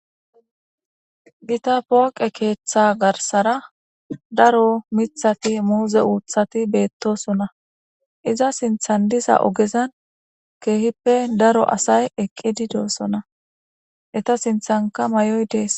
Gita pooqe keeththa garsara daro mithati muuze uuthati beettosonna iza sinthandisa ogezan keehippe daro asay eqqidi doossona eta sinthanka may'oy dees.